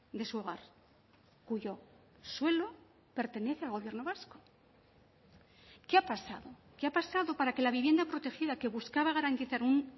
de su hogar cuyo suelo pertenece al gobierno vasco qué ha pasado qué ha pasado para que la vivienda protegida que buscaba garantizar un